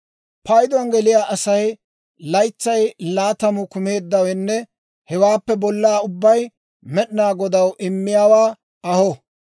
Payduwaan geliyaa Asay laytsay laatamu kumeeddawenne hewaappe bollaa ubbay, Med'inaa Godaw immiyaawaa aho.